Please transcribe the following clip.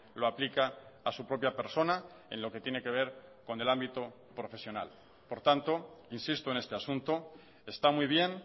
lo aplica a su propia persona en lo que tiene que ver con el ámbito profesional por tanto insisto en este asunto está muy bien